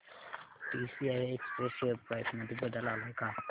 TCI express share price मध्ये बदल आलाय का